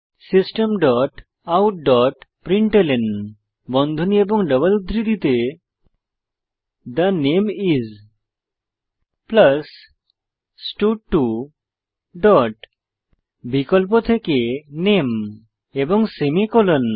system dot out dot println বন্ধনী এবং double উদ্ধৃতিতে থে নামে আইএস স্টাড2 ডট বিকল্প থেকে নামে এবং সেমিকোলন